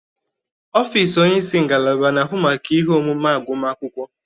Ọfịs onye isi ngalaba na-ahụ maka ihe omume agụma akwụkwọ.